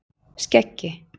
Skeggi